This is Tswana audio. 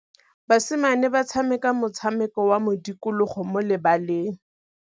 Basimane ba tshameka motshameko wa modikologô mo lebaleng.